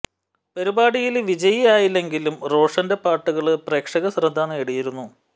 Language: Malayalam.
പരിപാടിയില് വിജയി ആയില്ലെങ്കിലും റോഷന്റെ പാട്ടുകള് പ്രേക്ഷക ശ്രദ്ധ നേടിയിരുന്നു